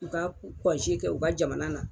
U ka kɔnje kɛ u ka jamana na.